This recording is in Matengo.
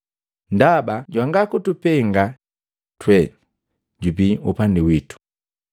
Ndaba jwanga kutupenga twe jubii upandi wito.